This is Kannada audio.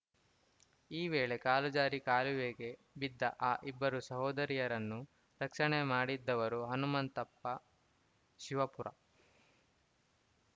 ಈ ವೇಳೆ ಕಾಲು ಜಾರಿ ಕಾಲುವೆಗೆ ಬಿದ್ದ ಆ ಇಬ್ಬರು ಸಹೋದರಿಯರನ್ನು ರಕ್ಷಣೆ ಮಾಡಿದ್ದವರು ಹನುಮಂತಪ್ಪ ಶಿವಪುರ